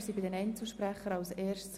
Wir kommen zu den Einzelvoten.